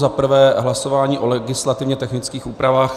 Za prvé hlasování o legislativně technických úpravách.